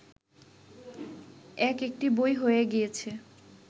এক-একটি বই হয়ে গিয়েছে